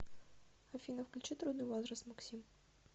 афина включи трудный возраст максим